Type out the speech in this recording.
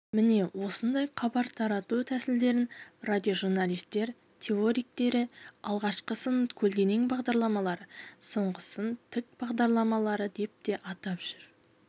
міне осындай хабар тарату тәсілдерін радиожурналистер теоретиктері алғашқысын көлденең бағдарламалы соңғысын тік бағдарламалы деп те атап жүр